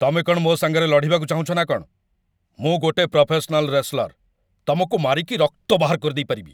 ତମେ କ'ଣ ମୋ ସାଙ୍ଗରେ ଲଢ଼ିବାକୁ ଚାହୁଁଚ ନା କ'ଣ? ମୁଁ ଗୋଟେ ପ୍ରଫେସନାଲ୍ ରେସଲର! ତମକୁ ମାରିକି ରକ୍ତ ବାହାର କରିଦେଇପାରିବି ।